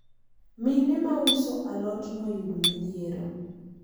mine ma uso alot noyudo midhiero